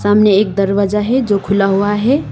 सामने एक दरवाजा है जो खुला हुआ है।